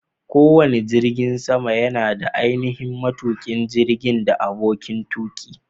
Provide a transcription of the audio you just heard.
Kowane jirgin sama yana da ainihin matuƙin jirgin da aboƙin tuƙi.